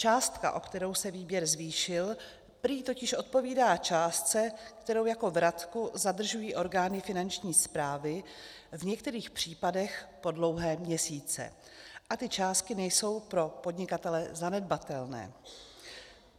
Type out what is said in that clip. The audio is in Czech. Částka, o kterou se výběr zvýšil, prý totiž odpovídá částce, kterou jako vratku zadržují orgány Finanční správy, v některých případech po dlouhé měsíce, a ty částky nejsou pro podnikatele zanedbatelné.